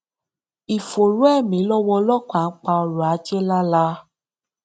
ìfòòró ẹmí lọwọ ọlọpàá ń pa ọrọ ajé lálá